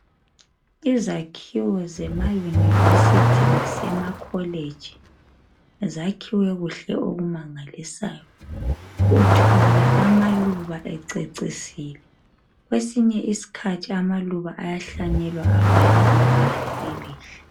Izakhiwo zema university lasemacollege .Zakhiwe kuhle okumangalisayo . Uthola amaluba ececisile .Kwesinye iskhathi amaluba ayahlanyelwa abhale ibala .